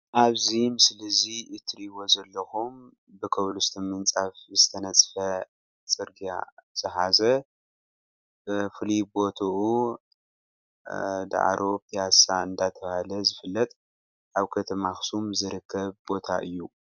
ኣብዚ ምስሊ እዚ እትርእዩዎ ዘሎኩም ብኮብልስቶን ምንፃፍ ዝተነፀፈ ፅርግያ ዝሓዘ ብፉሉይ ቦቱኡ ዳዕሮ ፕያሳ እንዳተባሃለ ዝፍለጥ ኣብ ከተማ አክሱም ዝርከብ ቦታ እዩ።